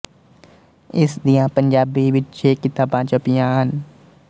ਇਸ ਦੀਆਂ ਪੰਜਾਬੀ ਵਿੱਚ ਛੇ ਕਿਤਾਬਾਂ ਛਪੀਆਂ ਹਨ